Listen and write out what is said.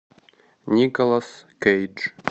николас кейдж